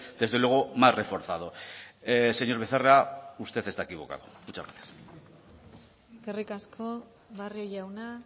desde luego más reforzado señor becerra usted está equivocado muchas gracias eskerrik asko barrio jauna